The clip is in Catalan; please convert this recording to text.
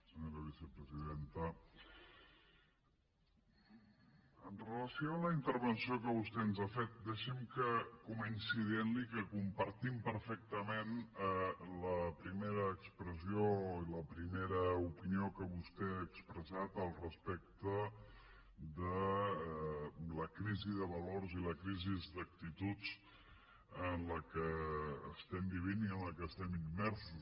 senyora vicepresidenta amb relació a la intervenció que vostè ens ha fet deixi’m que comenci dient li que compartim perfectament la primera expressió i la primera opinió que vostè ha expressat respecte de la crisi de valors i la crisi d’actituds en la qual estem vivint i en la qual estem immersos